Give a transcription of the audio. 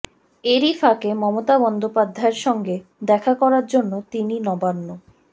এরই ফাঁকে মমতা বন্দ্যোপাধ্যায়ের সঙ্গে দেখা করার জন্য তিনি নবান্ন